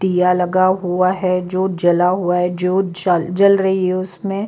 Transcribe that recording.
दिया लगा हुआ है जो जला हुआ है जो जल जल रही है उसमें--